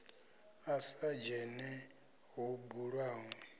a sa dzhene ho bulwaho